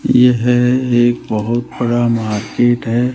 यह एक बहोत बड़ा मार्केट है।